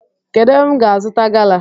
Kedu ébé m ga azuta gala?